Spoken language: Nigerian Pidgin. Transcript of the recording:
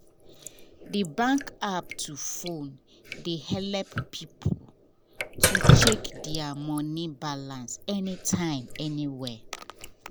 the bank app for phone dey help people to check their money balance anytime anywhere.